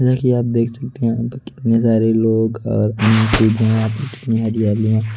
देखिए आप देख सकते है यहां पर कितने सारे लोग घर कितनी हरियाली है?